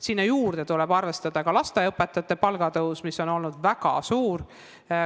Sinna juurde tuleb arvestada ka lasteaiaõpetajate palga tõus, mis on olnud väga suur.